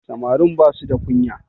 Samarin ba su the kunya